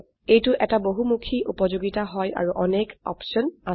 এইটো এটা বহুমুখী উপযোগিতা হয় আৰু অনেক অপশন আছে